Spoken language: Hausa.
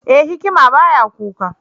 E! hikima ba ya kuka.